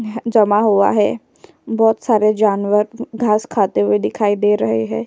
न्-ह् जमा हुआ है। बोत सारे जानवर न्-घास खाते हुए दिखाई दे रहे है।